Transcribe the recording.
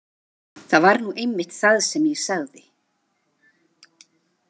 Það var nú einmitt það sem ég sagði.